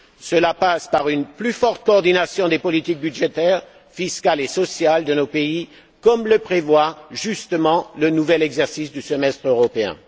Cela passe par une plus forte coordination des politiques budgétaires, fiscales et sociales de nos pays, comme le prévoit justement le nouvel exercice du semestre européen.